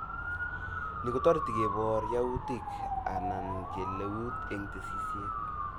Ni kotoreti kobor yautik aknan kaleutik eng tesisyit